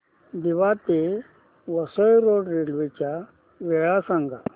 दिवा ते Vasai road railway च्या वेळा सांगा